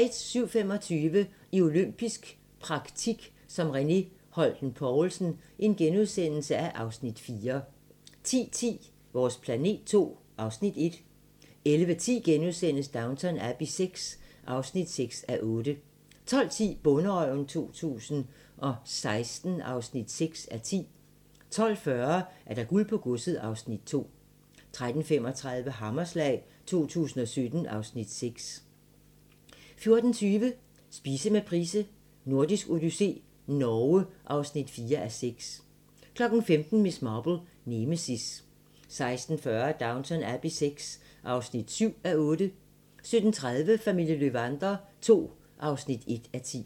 07:25: I olympisk praktik som René Holten Poulsen (Afs. 4)* 10:10: Vores planet II (Afs. 1) 11:10: Downton Abbey VI (6:8)* 12:10: Bonderøven 2016 (6:10) 12:40: Guld på godset (Afs. 2) 13:35: Hammerslag 2017 (Afs. 6) 14:20: Spise med Price: Nordisk odyssé - Norge (4:6) 15:00: Miss Marple: Nemesis 16:40: Downton Abbey VI (7:8) 17:30: Familien Löwander II (1:10)